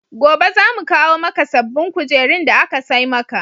Gobe za mu kawo maka sabbbin kujerun da aka sai maka.